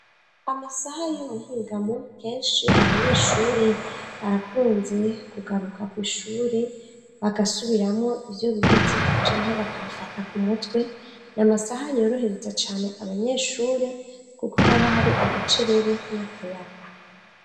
Amasaha y'ubuhingamwo kenshi abanyeshure barakunze kugaruka ku ishure bagasubiramwo ivyo bize canga bakabifata ku mutwe ni amasaha yorohereza cane abanyeshure kuko haba hari agacerere n'akayaga.